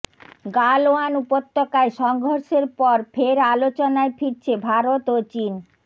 গালওয়ান উপত্যকায় সংঘর্ষের পর ফের আলোচনায় ফিরছে ভারত ও চিন